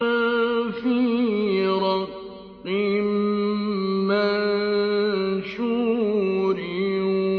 فِي رَقٍّ مَّنشُورٍ